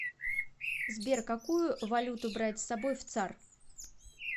сбер какую валюту брать с собой в цар